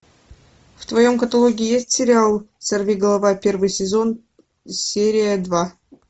в твоем каталоге есть сериал сорви голова первый сезон серия два